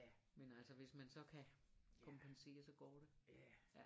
Men altså hvis man så kan kompensere så går det